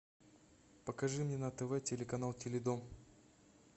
покажи мне на тв телеканал теледом